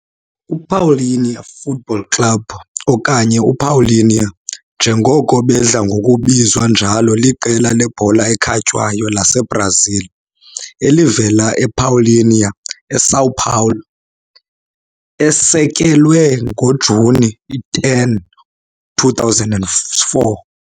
UPaulínia Futebol Clube, okanye uPaulínia njengoko bedla ngokubizwa njalo, liqela lebhola ekhatywayo laseBrazil elivela ePaulínia eSão Paulo, esekelwe ngoJuni 10, 2004.